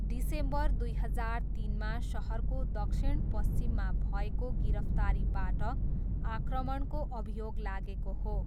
December दुई हजार तिनमा सहरको दक्षिणपश्चिममा भएको गिरफ्तारीबाट आक्रमणको अभियोग लागेको हो।